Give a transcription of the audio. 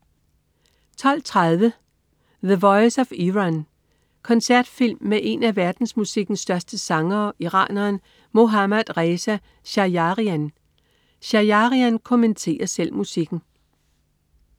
12.30 The voice of Iran. Koncertfilm med en af verdensmusikkens største sangere, iraneren Mohammad Reza Shajarian. Shajarian kommenterer selv musikken